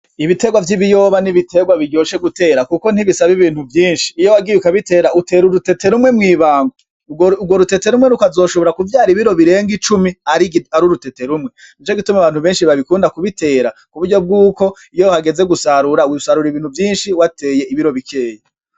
Ibiterwa vy'ibiyoba ni ibiterwa biryoshe gutera kuko ntibisaba ibintu vyinshi, iyo wagiye ukabitera utera urutete rumwe mw'ibango urwo rutete rumwe rukazoshobora kuvyara ibiro birenga icumi ari urutete rumwe, nico gituma abantu benshi babikunda kubitera kuburyo bwuko iyo hageze gusarura usarura ibintu vyinshi wateye ibiro bikeyi.